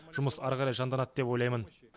жұмыс әрі қарай жанданады деп ойлаймын